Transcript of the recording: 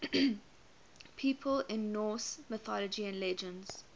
people in norse mythology and legends